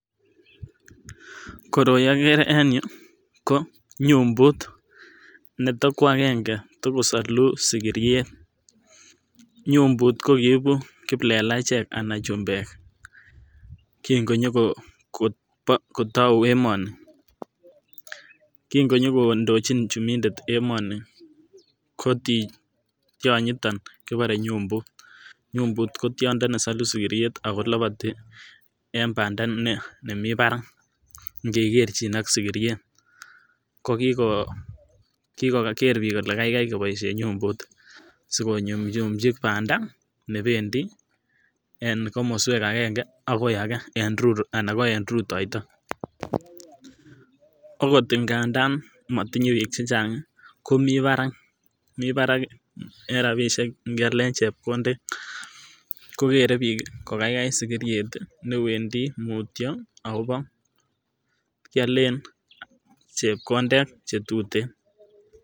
Koroi ogere en yuu ko nyumbut neto kwangenge tokosoluu sigiriet, nyumbut kokiiibu kiplelachek ana chumbek kin konyogo tou emoni, kin konyokondochin chumidet emoni kotii tyonyiton kibore nyumbut ko tiondo nesoluu sigiriet ako lopotii en banda nemii barak inge kerchin ak sigiriet ko kigoger bik kole gaigai koboishen nyumbut sikonyunyuchi banda nebedi en komoswek angenge agoi agee ana ko en rutoito . Akot ingandan motinye bik chechang komii barak mii barak en rabishek nyalen chemkondet kogere bik ko gaigai sigiriet newendii mutyo akobo kyolen chepkondet chetuten